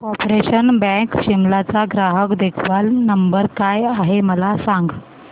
corporation bank Shimla चा ग्राहक देखभाल नंबर काय आहे मला सांग